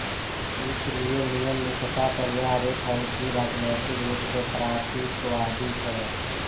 इसिलिये नियम निष्ठता पर यह आरोप है कि यह राज्नैतिक रूप से प्रातीक्वादी थे